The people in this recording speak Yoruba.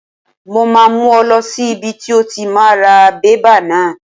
Mo máa mú ọ lọ sí ibi tí o ti máa ra bébà náà.